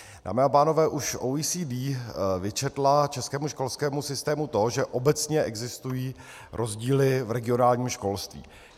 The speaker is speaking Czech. Dámy a pánové, už OECD vyčetla českému školskému systému to, že obecně existují rozdíly v regionálním školství.